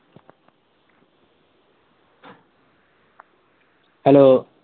hello